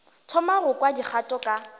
thoma go kwa dikgato ka